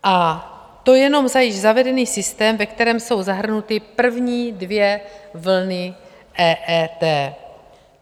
A to jenom za již zavedený systém, ve kterém jsou zahrnuty první dvě vlny EET.